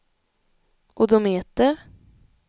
odometer